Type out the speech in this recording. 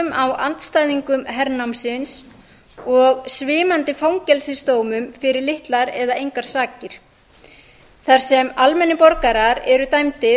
á andstæðingum hernámsins og svimandi fangelsisdómum fyrir litlar eða engar sakir þar sem almennir borgarar eru dæmdir